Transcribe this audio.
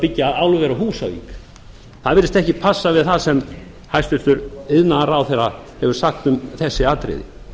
byggja álver á húsavík það virtist ekki passa við það sem hæstvirtur iðnaðarráðherra hefur sagt um þessi atriði